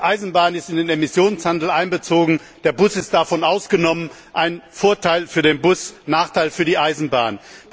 Die Eisenbahn ist in den Emissionshandel einbezogen, der Bus ist davon ausgenommen ein Vorteil für den Bus, ein Nachteil für die Eisenbahn.